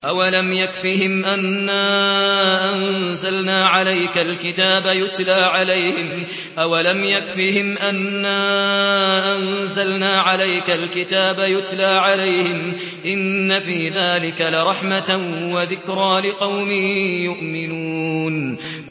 أَوَلَمْ يَكْفِهِمْ أَنَّا أَنزَلْنَا عَلَيْكَ الْكِتَابَ يُتْلَىٰ عَلَيْهِمْ ۚ إِنَّ فِي ذَٰلِكَ لَرَحْمَةً وَذِكْرَىٰ لِقَوْمٍ يُؤْمِنُونَ